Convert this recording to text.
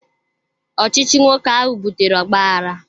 Ọchịchị nwoke ahụ butere ogbaaghara